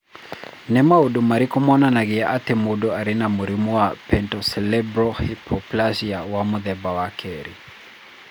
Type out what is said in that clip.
Nĩ maũndũ marĩkũ monanagia atĩ mũndũ arĩ na mũrimũ wa Pontocerebellar hypoplasia wa mũthemba wa kerĩ?